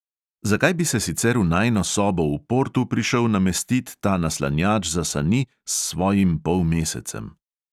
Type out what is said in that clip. Zakaj bi se sicer v najino sobo v portu prišel namestit ta naslanjač za sani s svojim polmesecem?